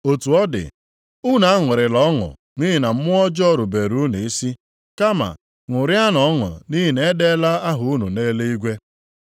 Otu ọ dị, unu aṅụrịla ọṅụ nʼihi na mmụọ ọjọọ rubere unu isi, kama ṅụrịanụ ọṅụ nʼihi na e deela aha unu nʼeluigwe.”